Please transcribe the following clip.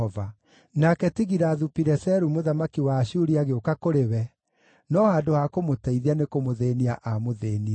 Nake Tigilathu-Pileseru mũthamaki wa Ashuri agĩũka kũrĩ we, no handũ ha kũmũteithia nĩkũmũthĩĩnia aamũthĩĩnirie.